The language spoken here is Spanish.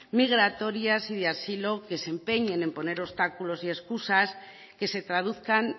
migratorias y de asilo que se empeñen en poner obstáculos y excusas que se traduzcan